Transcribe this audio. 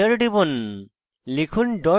enter টিপুন লিখুন